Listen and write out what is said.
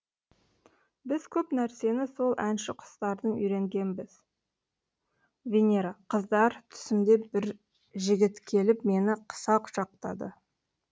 біз көп нәрсені сол әнші құстардан үйренгенбіз венера қыздар түсімде бір жігіт келіп мені қыса құшақтады